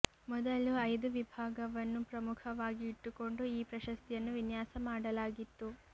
ಮೊದಲು ಐದು ವಿಭಾಗವನ್ನು ಪ್ರಮುಖವಾಗಿ ಇಟ್ಟುಕೊಂಡು ಈ ಪ್ರಶಸ್ತಿಯನ್ನು ವಿನ್ಯಾಸ ಮಾಡಲಾಗಿತ್ತು